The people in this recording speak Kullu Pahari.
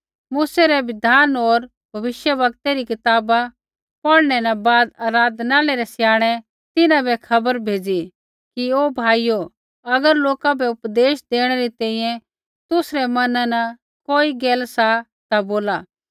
मूसै रै बिधान होर भविष्यवक्तै री कताबा पौढ़ै न बाद आराधनालय रै स्याणै तिन्हां बै खबर भेज़ी कि हे भाइयो अगर लोका बै उपदेश देणै री तैंईंयैं तुसरै मैना न कोई गैल सा ता बोला